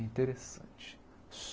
Interessante.